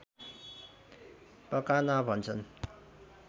पकाना भन्छन्